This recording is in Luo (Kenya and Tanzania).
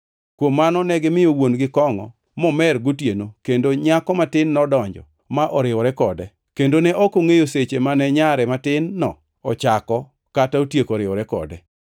Kuom mano negimiyo wuon-gi kongʼo momer gotieno kendo nyako matin nodonjo ma oriwore kode. Kendo ne ok ongʼeyo seche mane nyare matin-no ochako kata otieko riwore kode.